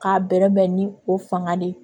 K'a bɛrɛbɛn ni o fanga de ye